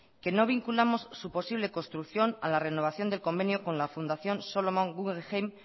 que no vinculamos su posible construcción a la renovación del convenio con la fundación solomon guggenheim